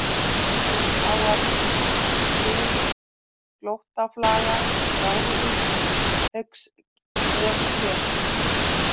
Innfláar, Kringlóttaflaga, Gráðvík, Haugsnessker